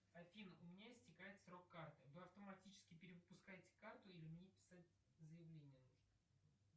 афина у меня истекает срок карты вы автоматически перевыпускаете карту или мне писать заявление нужно